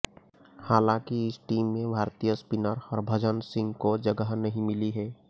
हालांकि इस टीम में भारतीय स्पिनर हरभजन सिंह को जगह नहीं मिली है